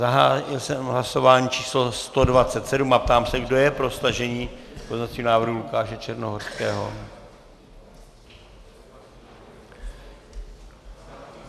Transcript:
Zahájil jsem hlasování číslo 127 a ptám se kdo je pro stažení pozměňovacího návrhu Lukáše Černohorského.